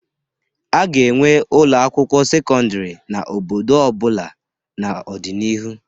A ga-enwe ụlọ akwụkwọ sekọndịrị n'obodo ọbula n'ọdịnihu.